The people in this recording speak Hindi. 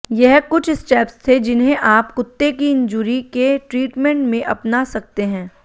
यह कुछ स्टेप्स थे जिन्हें आप कुत्ते की इंजुरी के ट्रीटमेंट में अपना सकते हैं